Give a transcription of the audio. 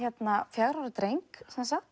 fjögurra ára dreng